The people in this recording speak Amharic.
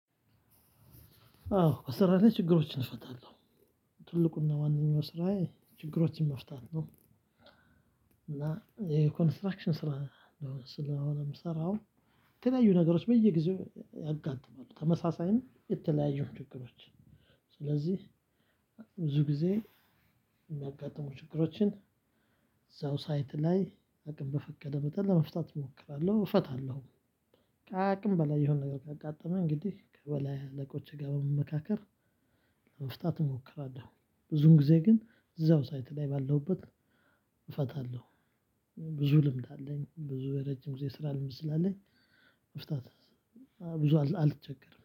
አዎ ስራ ላይ ችግሮችን እፈታለሁ። ትልቁና ዋነኛው ስራዬ ችግሮችን መፍታት ነው። እና ይሄ ኮንስትራክሽን ስራ ስለሆነ የምሰራው። የተለያዩ ነገሮች በየጊዜው ያጋጥማሉ ተመሳሳይ ነው የተለያዩ ችግሮች። ስለዚህ ብዙ ጊዜ የሚያጋጥሙ ችግሮችን እዛው ሳይት ላይ አቅም በፈቀደ መጠን ለመፍታት እሞክራለሁ እፈታለሁ። ከአቅም በላይ የሆነ ነገር ካጋጠመኝ እንግዲህ ከበላይ አለቆችህ ጋር በመመካከር ለመፍታት እሞክራለሁ። ብዙን ጊዜ ግን እዛው ሳይት ላይ ባለሁበት እፈታለሁ። ብዙ ልምድ አለኝ ብዙ ረጅም ጊዜ ስራ ልምድ ስላለኝ መፍታት ብዙ አልቸገርም